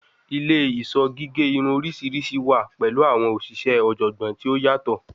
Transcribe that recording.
Ile-iṣọ gige irun oriṣiriṣi wa pẹlu awọn oṣiṣẹ ọjọgbọn ti o yatọ